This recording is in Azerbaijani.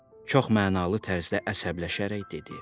Çox mənalı tərzdə əsəbləşərək dedi.